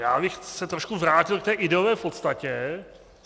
Já bych se trochu vrátil k té ideové podstatě.